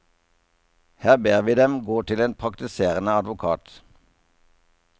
Her ber vi dem gå til en praktiserende advokat.